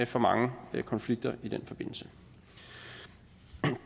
for mange konflikter i den forbindelse